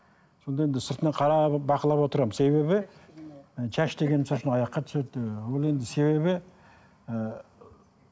сонда енді сыртынан қарап бақылап отырамын себебі шаш деген аяққа түседі ы ол енді себебі ы